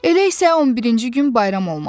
Elə isə 11-ci gün bayram olmalı idi.